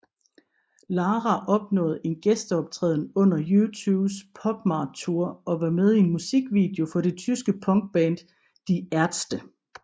Lara opnåede en gæsteoptræden under U2s PopMart Tour og var med i en musikvideo for det tyske punkband Die Ärzte